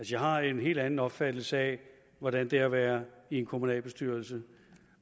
jeg har en helt anden opfattelse af hvordan det er at være i en kommunalbestyrelse